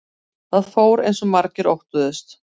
Það fór eins og margir óttuðust